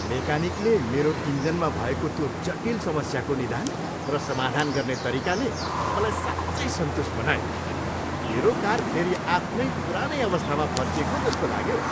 मेकानिकले मेरो इन्जिनमा भएको त्यो जटिल समस्याको निदान र समाधान गर्ने तरिकाले मलाई साँच्चै सन्तुष्ट बनायो, मेरो कार फेरि आफ्नो पुरानै अवस्थामा फर्किएको जस्तो लाग्यो।